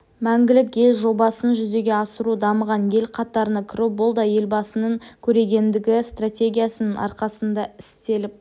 мәңгілік ел жобасын жүзеге асыру дамыған ел қатарына кіру бұл да елбасының көрегендігі стратегиясының арқасында істеліп